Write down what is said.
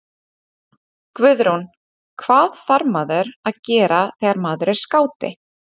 Guðrún: Hvað þarf maður að gera þegar maður er skáti?